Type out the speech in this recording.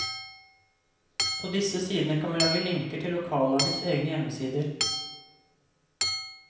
På disse sidene kan vi lage linker til lokallagets egne hjemmesider.